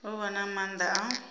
u vha na maanda a